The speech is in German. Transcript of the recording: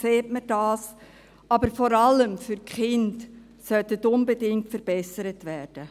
Diese sollten unbedingt verbessert werden.